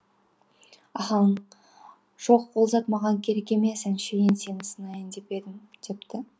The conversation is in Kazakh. ахаң жоқ ол зат маған керек емес әншейін сені сынайын деп едім депті